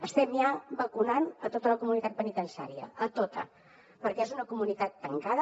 estem ja vacunant tota la comunitat penitenciària tota perquè és una comunitat tancada